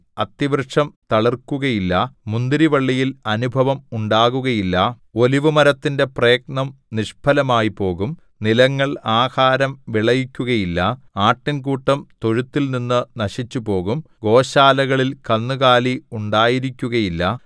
അത്തിവൃക്ഷം തളിർക്കുകയില്ല മുന്തിരിവള്ളിയിൽ അനുഭവം ഉണ്ടാകുകയില്ല ഒലിവുമരത്തിന്റെ പ്രയത്നം നിഷ്ഫലമായിപ്പോകും നിലങ്ങൾ ആഹാരം വിളയിക്കുകയില്ല ആട്ടിൻകൂട്ടം തൊഴുത്തിൽനിന്ന് നശിച്ചുപോകും ഗോശാലകളിൽ കന്നുകാലി ഉണ്ടായിരിക്കുകയില്ല